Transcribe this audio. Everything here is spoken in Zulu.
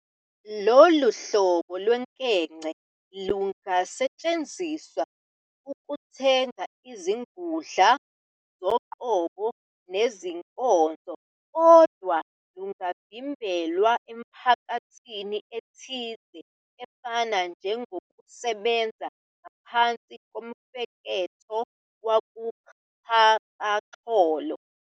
Lolu hlobo lwenkece lingasetshenziselwa ukuthenga izingudla zoqobo nezinkonzo, kodwa lungavmbelwa emphakathini ethile efana njengokusebenza ngaphakathi komfeketho wakuxhakaxholo.